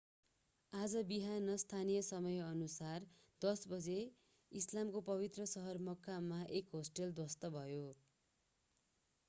आज बिहान स्थानीय समयानुसार 10 बजे इस्लामको पवित्र सहर मक्कामा एक होस्टल ध्वस्त भयो